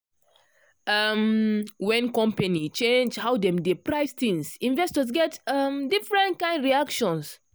um when company change how dem dey price things investors get um different kind reactions.